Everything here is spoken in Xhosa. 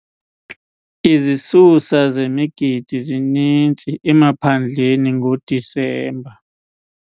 Izisusa zemigidi zininzi emaphandleni ngoDisemba.